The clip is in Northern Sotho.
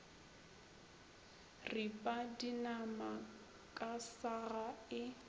ripa dinama ka saga e